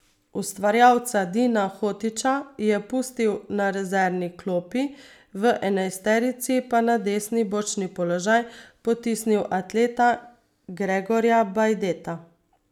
Ustvarjalca Dina Hotića je pustil na rezervni klopi, v enajsterici pa na desni bočni položaj potisnil atleta Gregorja Bajdeta.